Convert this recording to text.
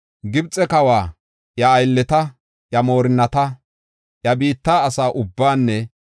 Gibxe kawa, iya aylleta, iya moorinnata, iya biitta asa ubbaanne